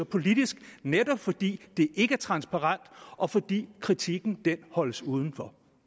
politisk netop fordi det ikke er transparent og fordi kritikken holdes udenfor